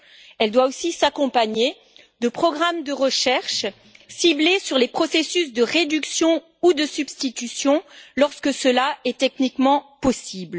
Elle doit aussi s'accompagner de programmes de recherche ciblés sur les processus de réduction ou de substitution, lorsque cela est techniquement faisable.